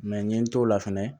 Mɛ n ye n t'o la fɛnɛ